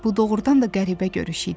Bu doğrudan da qəribə görüş idi.